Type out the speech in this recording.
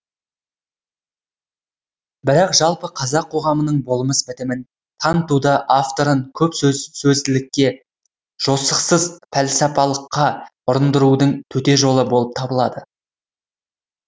бірақ жалпы қазақ қоғамының болмыс бітімін танытуда авторын көп сөзділікке жосықсыз пәлсапалыққа ұрындырудың төте жолы болып табылады